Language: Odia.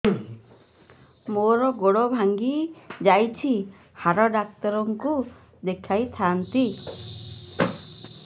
ମୋର ଗୋଡ ଭାଙ୍ଗି ଯାଇଛି ହାଡ ଡକ୍ଟର ଙ୍କୁ ଦେଖେଇ ଥାନ୍ତି